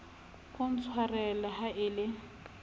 o ntshwarele ha e le